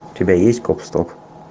у тебя есть гоп стоп